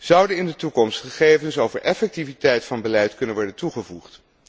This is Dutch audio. Zouden in de toekomst gegevens over effectiviteit van beleid kunnen worden toegevoegd?